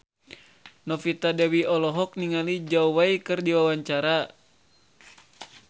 Novita Dewi olohok ningali Zhao Wei keur diwawancara